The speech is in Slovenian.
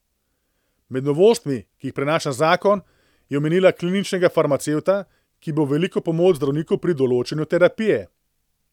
Med novostmi, ki jih prinaša zakon, je omenila kliničnega farmacevta, ki bo v veliko pomoč zdravniku pri določanju terapije.